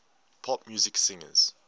pop music singers